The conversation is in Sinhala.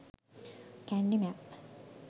kandy map